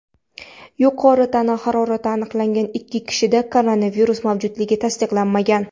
Yuqori tana harorati aniqlangan ikki kishida koronavirus mavjudligi tasdiqlanmagan.